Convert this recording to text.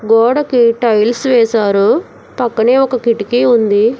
గోడకి టైల్స్ వేశారు పక్కనే ఒక కిటికీ ఉంది.